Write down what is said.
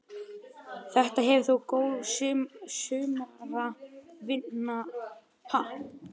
Þetta hefur þótt góð sumaratvinna fyrir stúdenta á þessum árum?